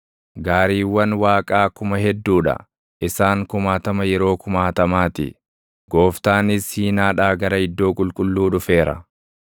Gaariiwwan Waaqaa kuma hedduu dha; isaan kumaatama yeroo kumaatamaa ti; Gooftaanis Siinaadhaa gara iddoo qulqulluu dhufeera.